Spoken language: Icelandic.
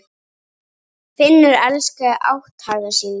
Finnur elskaði átthaga sína.